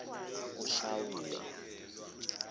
ushawule